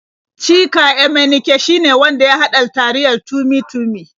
Chika Emenike shine wanda ya haɗa taliyar Tummy-Tummy.